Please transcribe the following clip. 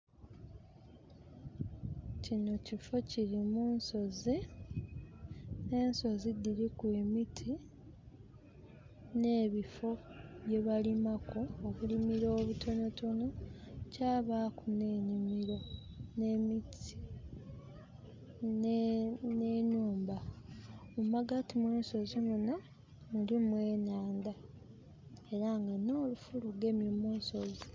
Kinho kifo kiri mu nsozi, ensozi dhiriku emiti nh'ebifo byebalimaku obulimiro obutonhotonho kyabaaku nh'enimiro nh'emiti nh'enhumba. Mu magati mw'ensozi munho mulimu enhandha era nga nh'olufu lugemye mu nsozi.